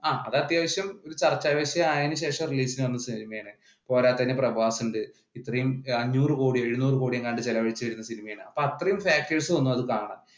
അത് അത്യാവശ്യം ചർച്ച വിഷയം ആയതിനു ശേഷം പോരാത്തതിന് പ്രഭാസ് ഉണ്ട് ഇത്രയും അഞ്ഞൂറ് കൊടിയോ എഴുന്നൂറ് കൊടിയോ എങ്ങാണ്ട് ചിലവഴിച്ച സിനിമയാണ് അപ്പൊ അത്രെയും factors വന്നു അത് കാണാൻ